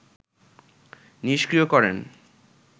নিস্ক্রিয় করেন